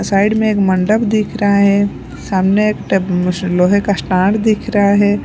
Side में एक मंडप दिख रहा है सामने एक अ टप मुश लोहे का स्टांड दिख रहा है।